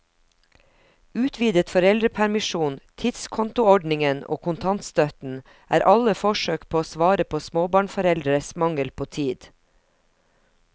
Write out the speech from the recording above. Utvidet foreldrepermisjon, tidskontoordningen og kontantstøtten er alle forsøk på å svare på småbarnforeldres mangel på tid.